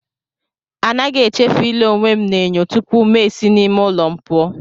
Anaghị echefu ile onwe m n'enyo tupu ma esi n'ime ụlọ m pụọ.